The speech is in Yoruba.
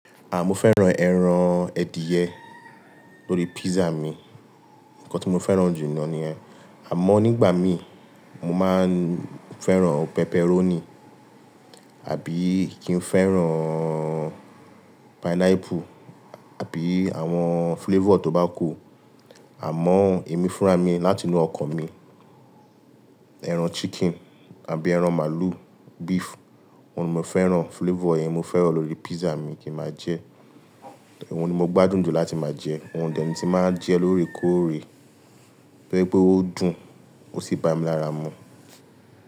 À, mo fẹ́ran ẹran adìẹ lórí pizza mi. Ǹkan tí mo fẹ́ran jù náà ní ẹ. Àmọ́ nígbà mi, mo máa ń fẹ́ran pepperoni, àbí kí n fẹ́ran pineapple, àbí àwọn filéfọ tó bá kù. Àmọ́ èmi fúnra mi láti inú ọkàn mi, ẹran adiẹ àbí ẹran màlú, beef, òun ni mo fẹ́ran filéfo yẹn mo fẹ́ran lórí pissa mi kí mà jẹ. Òun ni mo gbádùn jù láti máa jẹ. Òun dẹ̀ ní tí máa jẹ lóòrèkóòrè, tó jẹ pé ó dùn, ó sì bá mi lára mu.